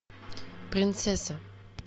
принцесса